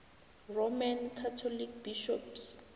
roman catholic bishops